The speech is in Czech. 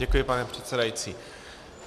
Děkuji, pane předsedající.